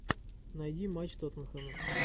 найди матч тоттенхэма